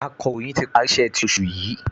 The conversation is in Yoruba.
Akọ̀ròyìn ti parí iṣẹ́ ti oṣù yìí